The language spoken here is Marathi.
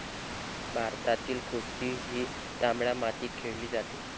भारतातील कुस्ती ही तांबड्या मातीत खेळली जाते.